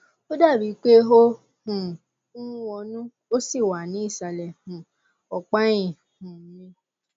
ó dàbí i pé ó um wọnú ó sì wà ní ìsàlẹ um ọpá ẹyìn um mi